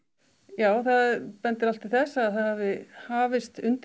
já það bendir allt til þess að það hafi hafist undir